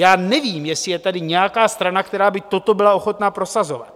Já nevím, jestli je tady nějaká strana, která by toto byla ochotna prosazovat.